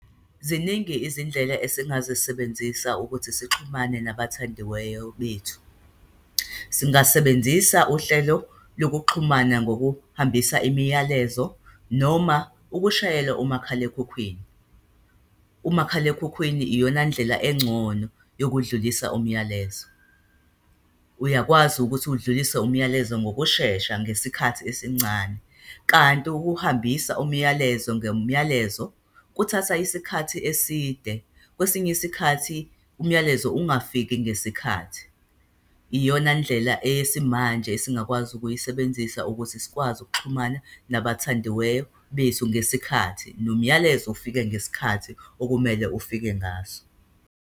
Ziningi izindlela esingazisebenzisa ukuthi sixhumane nabathandiweyo bethu. Singasebenzisa uhlelo lokuxhumana ngokuhambisa imiyalezo noma ukushayela umakhalekhukhwini. Umakhalekhukhwini iyona ndlela engcono yokudlulisa umyalezo. Uyakwazi ukuthi udlulise umyalezo ngokushesha, ngesikhathi esincane. Kanti ukuhambisa umyalezo ngomyalezo, kuthatha isikhathi eside. Kwesinye isikhathi umyalezo ungafiki ngesikhathi. Iyona ndlela eyesimanje esingakwazi ukuyisebenzisa ukuthi sikwazi ukuxhumana nabathandiweyo bethu ngesikhathi, nomyalezo ufike ngesikhathi okumele ufike ngaso.